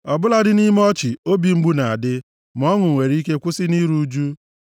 Ọ bụladị nʼime ọchị obi mgbu na-adị, ma ọṅụ nwere ike kwụsị nʼiru ụjụ.